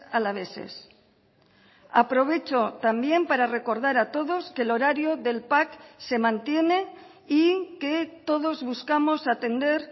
alaveses aprovecho también para recordar a todos que el horario del pac se mantiene y que todos buscamos atender